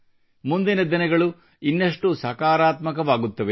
ಮುಂದಿನ ದಿನಗಳು ಇನ್ನಷ್ಟು ಸಕಾರಾತ್ಮಕವಾಗುತ್ತವೆ